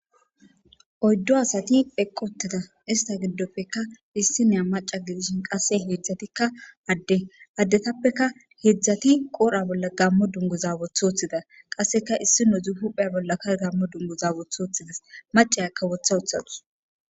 Oyddu asati eqqi uuttida ista giddoppekka issiniya maca gidishin qase hedzdzattikka adde addetappekka hedzdzatti qodhdha bolla gamo dunguza woththi wothida qasekka issinezikka huuphphe bolla gaammo dunguza woththi wothides macayakka wotha wothadus